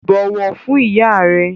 Bọ̀wọ̀ fún ìyá rẹ!